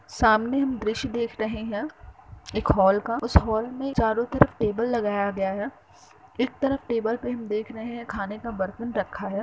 सामने हम दृश्य देख रहे है एक हाल का। उस हाल में चारों तरफ टेबल लगाया गया है। एक तरफ टेबल पर हम देेेख रहे है खाने का बर्तन रखा है।